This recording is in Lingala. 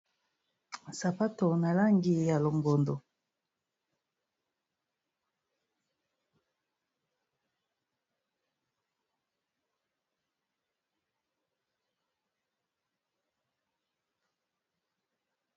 sapato nalangi ya longondo